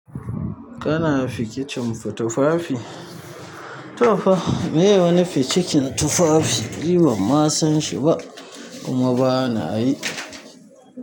Kana fikicin tufafi? To fa, me wane fikicin tufafi? Ni ban ma sanshi ba kuma banayi.